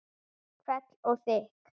Hvell og þykk.